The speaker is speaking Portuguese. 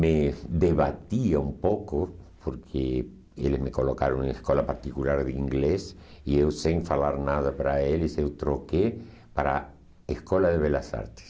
me debatiam um pouco porque eles me colocaram em uma escola particular de inglês e eu sem falar nada para eles eu troquei para a Escola de Belas Artes.